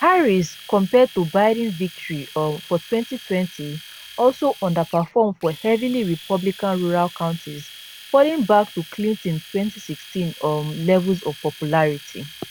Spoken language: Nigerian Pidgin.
harris compared to biden victory um for 2020 also underperform for heavily republican rural counties falling back to clinton 2016 um levels of popularity